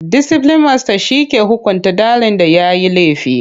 Disiplin masta ke hukunta ɗalin da yayi laifi.